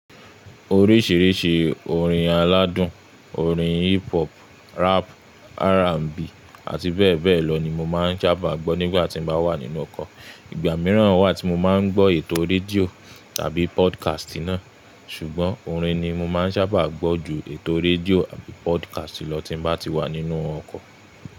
Oríṣìíríṣìí orin aládùn, orin hip hop, rap, R&B àti bẹ́ẹ̀ bẹ́ẹ̀ lọ ni mo máa ń sábà gbọ́ nígbàtí mo bá wà nínú ọkọ̀. Ìgbà míràn wà tí mo máa ń gbọ́ ètò rédíò tàbí podcast náà. Ṣùgbọ́n, orin ni mo máa ń sábà gbọ́ ju ètò rédíò àti podcast lọ tí n bá ti wà nínú ọkọ̀.